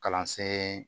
Kalansen